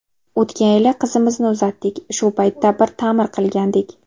O‘tgan yili qizimizni uzatdik, shu paytda bir ta’mir qilgandik.